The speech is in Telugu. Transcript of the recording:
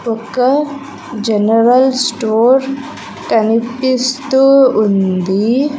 ఒక జనరల్ స్టోర్ కనిపిస్తూ ఉంది.